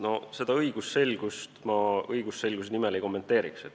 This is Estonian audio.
No seda õigusselgust ma õigusselguse nimel ei kommenteeriks.